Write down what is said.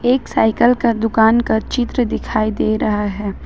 एक साइकिल का दुकान का चित्र दिखाई दे रहा है।